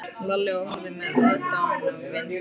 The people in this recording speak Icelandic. Lalli og horfði með aðdáun á vin sinn.